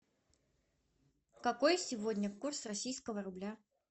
какой сегодня курс российского рубля